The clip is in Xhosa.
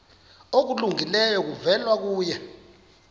okulungileyo kuvela kuye